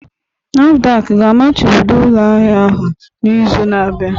NAFDAC ga-amachibido ụlọ ahịa ahụ n'izu na-abịa?